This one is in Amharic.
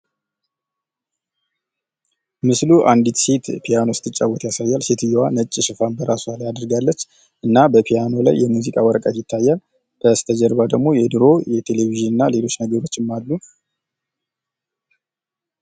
ምስሉ አንዲት ሴት ፒያኖ ስትጫወት ያሳያል። ሴትዮዋ ነጭ ሽፋን በራሷ ላይ አድርጋለች። እና በፒያኖ ላይ የሙዚቃ ወረቀት ይታያል። በስተጀርባ ደግሞ የድሮ የቴሌቪዥን እና ሌሎች ነገሮችም አሉ።